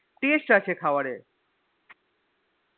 Taste আছে খাবারে